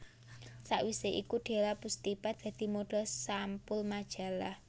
Sawisé iku Della Pustipa dadi modhel sampul majalah